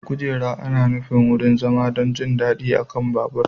Kujera ana nufin wurin zama don jin daɗi a kan babur.